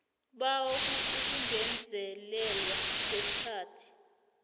bawa ukungezelelwa kwesikhathi